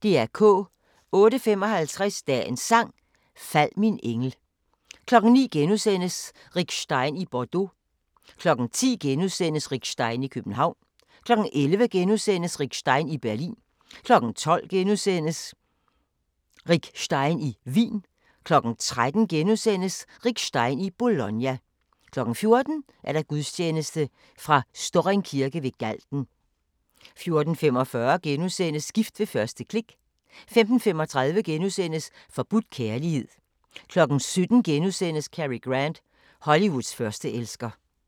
08:55: Dagens Sang: Fald min engel 09:00: Rick Stein i Bordeaux * 10:00: Rick Stein i København * 11:00: Rick Stein i Berlin * 12:00: Rick Stein i Wien * 13:00: Rick Stein i Bologna * 14:00: Gudstjeneste fra Storring Kirke ved Galten 14:45: Gift ved første klik * 15:35: Forbudt kærlighed * 17:00: Cary Grant – Hollywoods førsteelsker *